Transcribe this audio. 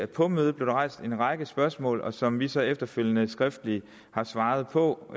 på mødet blev rejst en række spørgsmål som vi så efterfølgende skriftligt har svaret på